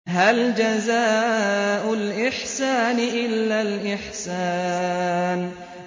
هَلْ جَزَاءُ الْإِحْسَانِ إِلَّا الْإِحْسَانُ